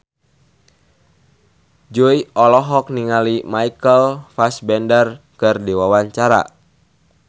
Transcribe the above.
Jui olohok ningali Michael Fassbender keur diwawancara